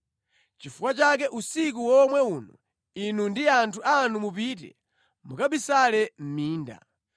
Nʼchifukwa chake usiku womwe uno inu ndi anthu anu mupite, mukabisale mʼminda.